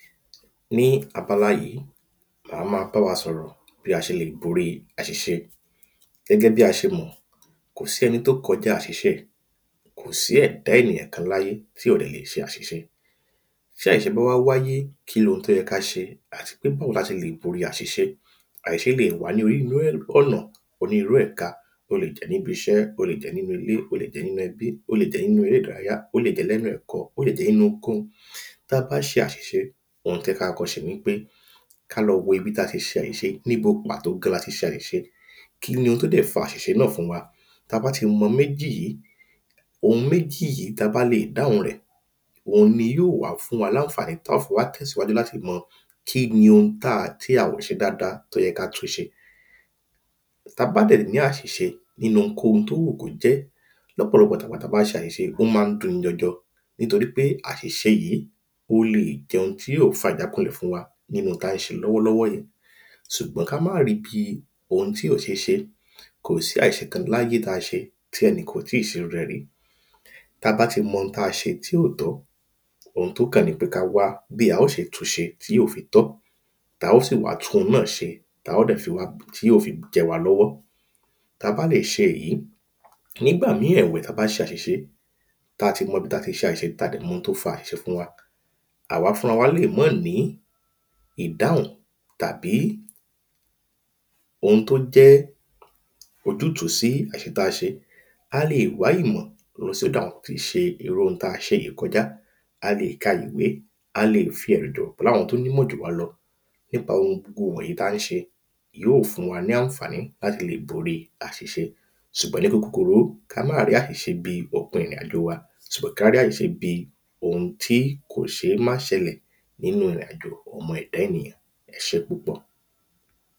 ní abala yìí màá ma bá wa sọ̀rọ̀ lórí àṣìṣe gẹ́gẹ́ bí a ṣe mọ̀ kò sí ẹni tó kojá àṣìṣe kò sí ẹ̀dá ènìyàn kan láyé tí ò dẹ̀ lè ṣe àṣìṣe tí àṣìṣe bá wá wáyé kí lohun tó yẹ ká ṣe àti pe bóo la ṣe lè bori àṣìṣe àṣìṣe leè wá ni ọ̀nà onírú ẹ̀ka o le jẹ́ níbi iṣẹ́ o le jẹ́ nínú ilé o le jẹ́ nínú ẹbí o le jẹ́ nínú eré ìdárayá o le jẹ́ nínú lẹ́nu ẹ̀kọ́ o le jẹ́ nínú ohunkóhun ta bá ṣe àṣìṣe ohun tẹ́ ká kọ́ ṣe ni pé ká lọ wo ibi ta ti ṣe àṣìṣe níbo pàtó gan lati ṣe àṣìṣe kí ní ó tú lè fa àṣìṣe náà fún wa ta bá ti mọ méjì yìí ohun méjì yìí ta bá lè dáhùn rẹ̀ òun ni yó wá fún wa láńfàní tọ́ fi wá tẹ̀síwájú láti mọ kí ni ohun tí a ò ṣe dada tó yẹ ká tún ṣe tá bá dẹ̀ ní àṣìṣe nínu ohunkóhun tó wù kó jẹ́ lọ́pọ̀lọpọ̀ ta bá ṣe àṣìṣe ó má ń dun ni jọjọ nítorí pé àṣìṣe yìí ó leè jẹ́ ohun tí ó fa ìjákunlẹ̀ fún wa nínu tá ń ṣe lọ́wọ́ lọ́wọ́ yẹn sùgbọ́n ká má ri bíi ohun tí ò ṣééṣe kò si àṣìṣe kan láyé tí a ṣe tí ẹni kan ò tíì ṣe irú rẹ̀ rí tá bá ti mọ ohun tí a ṣe tí ò tọ ohun tó kàn ni pé ká wá bí a ó ṣe tu ṣe tí ó fi tọ́ ta ó sì ma tú hun náà ṣe tí óò fi jẹ́ wa lọwọ ta bá lè ṣe èyí nígbà mí èwẹ̀ ta bá ti ṣe àṣìṣe ta ti mọ bi ta ti ṣe àṣìṣe ta dẹ̀ mọ ohun tó fa àṣìṣe fún wa àwa fún ra wa lè mọ́ ní ìdáhún tàbí ohun tó jẹ́ ojútú sí àṣìṣe táa ṣe a leè wá ìmọ lọ sọ́dọ̀ àwọn ti ṣe irú ohun tá a ṣe yí kojá a lè ka ìwé a lè fí ẹ̀rì dọ láwọn tó nímọ jù wá lọ nípa ohun kohun wọ̀nyí tá ń ṣe yíò fún wa ní àǹfàní láti le bori àṣìṣe sùgbọn ni kúkurú ka ma rí àṣìṣe bíi ò pin ìrìn àjò wa sò ká rí àṣìṣe bíi ohun tí kò ṣé má ṣelẹ̀ nínu ìrìn àjò ọmọ ẹ̀da ènìyàn ẹ ṣe púpọ̀